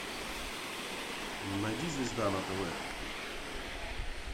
найди звезда на тв